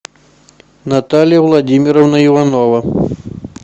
наталья владимировна иванова